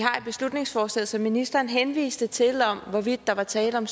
beslutningsforslaget som ministeren henviste til om hvorvidt der var tale om